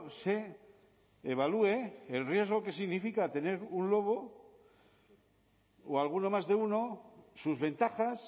se evalúe el riesgo que significa tener un lobo o alguno más de uno sus ventajas